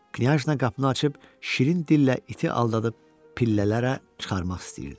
Knyaz nə qapını açıb şirin dillə iti aldadıb pillələrə çıxarmaq istəyirdi.